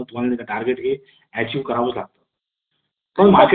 तर परस्पर सद्भाव हर वण्याची शक्यता निर्माण होते